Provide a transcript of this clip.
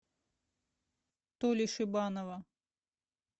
толи шибанова